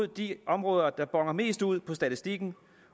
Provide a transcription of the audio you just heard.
de områder der boner mest ud i statistikken